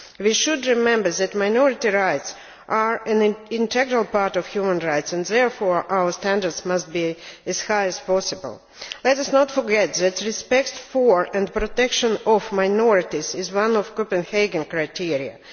We should remember that minority rights are an integral part of human rights and therefore our standards must be as high as possible. Let us not forget that respect for, and protection of, minorities is one of the Copenhagen criteria.